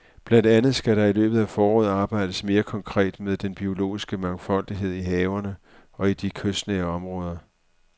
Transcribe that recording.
Blandt andet skal der i løbet af foråret arbejdes mere konkret med den biologiske mangfoldighed i havene og i de kystnære områder.